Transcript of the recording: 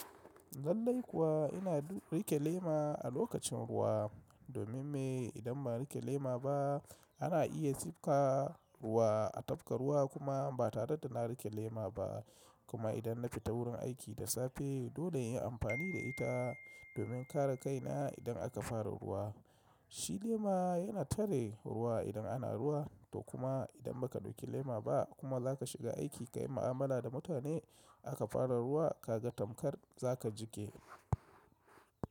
Zalai kuwa ina rike lema a lokacin ruwa domin me? Idan ba na rike lema ba ana iya tsifka ruwa a tafka ruwa kuma ba tare da na rike lema ba kuma idan na fita wurin aiki da safe, dole in yi amfani da ita domin kare kaina idan aka fara ruwa. Shi lema yana tare ruwa idan ana ruwa to kuma idan baka dauki lema ba kuma zaka shiga aiki ka yi mu'amala da mutane aka fara ruwa ka ga tamkar za ka jiƙe.